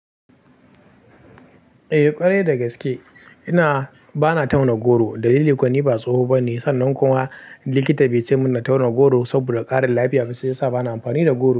Eh ƙwarai da gaske. Ina bana tauna goro. Dalili kuwa ni ba tsoho bane sannan kuma likita baice min na tauna goro saboda ƙarin lafiya. Shi ya sa bana amfani da goro.